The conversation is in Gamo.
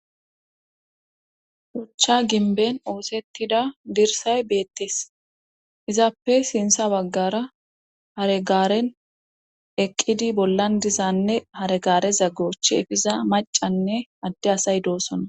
Hochcha ginben oosettida dirsay beettes izaappe sinsa waggara haregaaren eqqidi bollan dizanne haregaare zagoch efiza macanne adde asay doosona